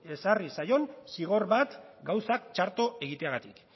ezarri zaion zigor bat gauzak txarto egiteagatik